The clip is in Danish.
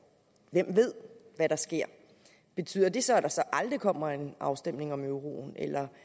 hvem ved hvad der sker betyder det så at der så aldrig kommer en afstemning om euroen